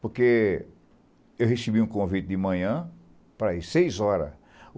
Porque eu recebi um convite de manhã para ir seis horas.